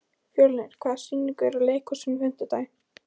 Fjörnir, hvaða sýningar eru í leikhúsinu á fimmtudaginn?